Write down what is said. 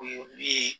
O ye min ye